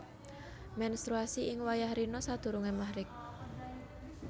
Mènstruasi ing wayah rina sadurungé Maghrib